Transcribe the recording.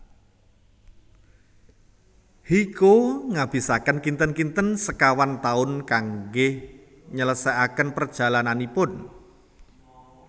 Hyecho nghabisaken kinten kinten sekawan taun kangge nyeleseaken perjalananipun